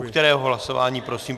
U kterého hlasování prosím?